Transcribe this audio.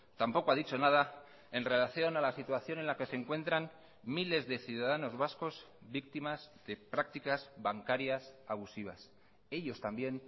tampoco ha dicho nada en relación a la situación en la que se encuentran miles de ciudadanos vascos víctimas de prácticas bancarias abusivas ellos también